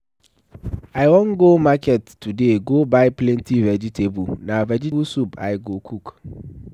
I wan go market today go buy plenty vegetable. Na vegetable soup I go cook.